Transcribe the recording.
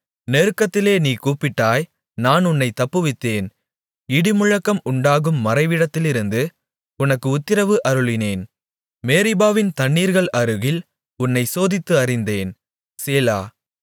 நெருக்கத்திலே நீ கூப்பிட்டாய் நான் உன்னைத் தப்புவித்தேன் இடிமுழக்கம் உண்டாகும் மறைவிடத்திலிருந்து உனக்கு உத்திரவு அருளினேன் மேரிபாவின் தண்ணீர்கள் அருகில் உன்னைச் சோதித்து அறிந்தேன் சேலா